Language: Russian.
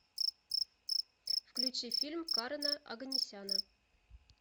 включи фильм карена оганесяна